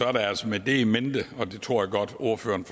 er det altså med det in mente og det tror jeg godt ordføreren